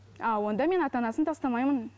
а онда мен ата анасын тастамаймын